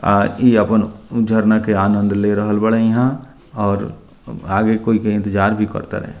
आ इ अपन झरना के आनंद ले रहल बाड़े इहाँ और आगे कोई के इंतेजार भी कर तारे।